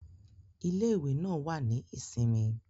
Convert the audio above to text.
Ile-iwe naa wa ni isinmi.